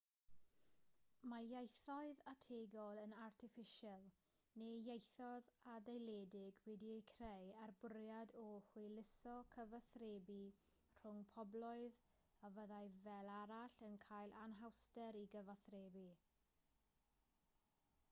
mae ieithoedd ategol yn artiffisial neu ieithoedd adeiledig wedi'u creu â'r bwriad o hwyluso cyfathrebu rhwng pobloedd a fyddai fel arall yn cael anhawster i gyfathrebu